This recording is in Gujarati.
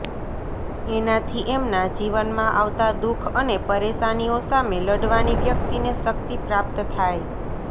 એનાથી એમના જીવનમાં આવતા દુઃખ અને પરેશાનીઓ સામે લડવાની વ્યક્તિને શક્તિ પ્રાપ્ત થાય